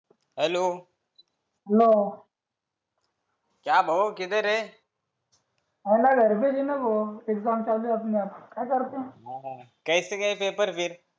hello नाही भाऊ कूठे आहे घरी होते का हो परीक्षा चालू आहे आमची काय करताय कसे पेपर गेले वेट